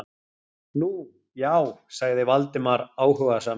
Nú, já- sagði Valdimar áhugasamur.